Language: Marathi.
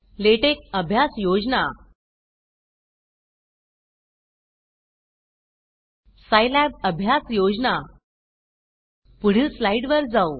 लॅटेक्स अभ्यास योजना सायलैब अभ्यास योजना पुढील स्लाइड वर जाऊ